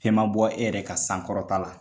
Fɛn ma bɔ e yɛrɛ ka sankɔrɔta la